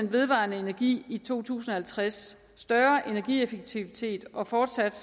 vedvarende energi i to tusind og halvtreds større energieffektivitet og fortsat